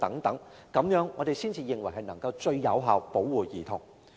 我們認為這樣才能夠最有效保護兒童。